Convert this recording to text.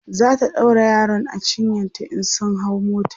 zata ɗaura yaron a cinyanta in sun hau mota